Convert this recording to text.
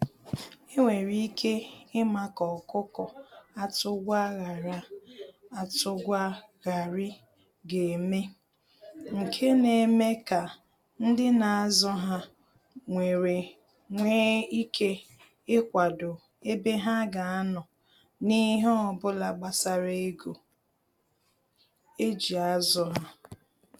Enwere ike ima ka ọkụkọ atụ gwa ghara atụ gwa ghari ga eme, nke na eme ka ndị na azụ ha nwere nwe ike ikwado ebe ha ga anọ na ihe obula gbasara ego eji azụ ha.